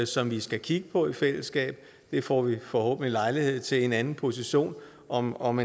som vi skal kigge på i fællesskab det får vi forhåbentlig lejlighed til i en anden position om om